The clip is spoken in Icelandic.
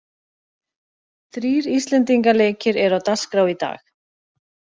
Þrír íslendinga leikir eru á dagskrá í dag.